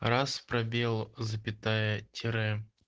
раз пробел запятая тире